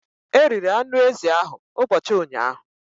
The goat meat was eaten yesterday.